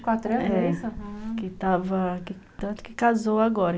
É. Tanto que casou agora.